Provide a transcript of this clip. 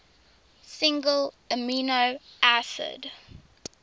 single amino acid